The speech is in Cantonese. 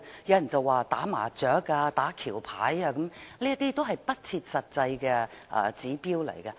有人說打麻將、打橋牌，這些都是不切實際的指標。